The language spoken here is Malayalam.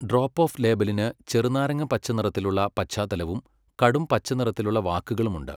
ഡ്രോപ്പ് ഓഫ് ലേബലിന് ചെറുനാരങ്ങപ്പച്ചനിറത്തിലുള്ള പശ്ചാത്തലവും കടുംപച്ചനിറത്തിലുള്ള വാക്കുകളും ഉണ്ട്.